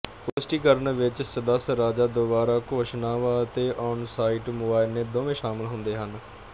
ਪੁਸ਼ਟੀਕਰਣ ਵਿੱਚ ਸਦੱਸ ਰਾਜਾਂ ਦੁਆਰਾ ਘੋਸ਼ਣਾਵਾਂ ਅਤੇ ਔਨਸਾਈਟ ਮੁਆਇਨੇ ਦੋਵੇਂ ਸ਼ਾਮਲ ਹੁੰਦੇ ਹਨ